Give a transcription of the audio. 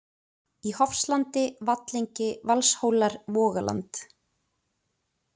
í Hofslandi, Vallengi, Valshólar, Vogaland